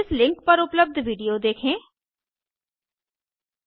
इस लिंक पर उपलब्ध विडियो देखें httpspoken tutorialorgWhat इस आ स्पोकेन ट्यूटोरियल